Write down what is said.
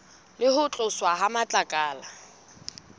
le ho tloswa ha matlakala